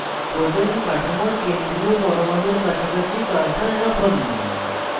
propane কাঠামোর কেন্দ্রীয় পরমাণুর কাছাকাছি cursor রাখুন